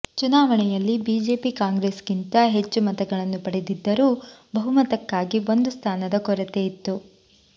ಚುನಾವಣೆಯಲ್ಲಿ ಬಿಜೆಪಿ ಕಾಂಗ್ರೆಸ್ಗಿಂತ ಹೆಚ್ಚು ಮತಗಳನ್ನು ಪಡೆದಿದ್ದರೂ ಬಹುಮತಕ್ಕಾಗಿ ಒಂದು ಸ್ಥಾನದ ಕೊರತೆಯಿತ್ತು